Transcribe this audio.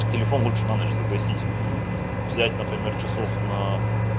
телефон лучше на ночь загасить взять например часов на